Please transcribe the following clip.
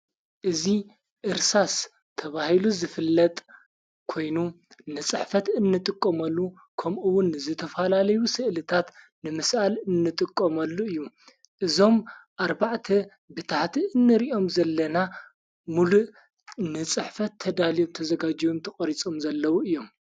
እዙ ዕርሳስ ተብሂሉ ዝፍለጥ ኮይኑ ንጽሕፈት እንጥቆመሉ ከምኡውን ዝተፈላለዩ ሥእልታት ንምስኣል እንጥቆመሉ እዩ እዞም ኣርባዕተ ብታህቲ እንርእኦም ዘለና ሙሉእ ንጽሕፈት ተዳልዮም ተ ዘጋጅም ተቖሪጾም ዘለዉ እዮም::